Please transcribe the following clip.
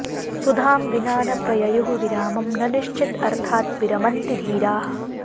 सुधां विना न प्रययुः विरामं न निश्चित् अर्थात् विरमन्ति धीराः